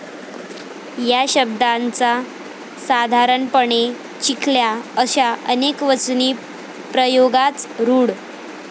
या शब्दांचा साधारणपणे 'चिखल्या' असा अनेकवचनी प्रयोगाच रूढ.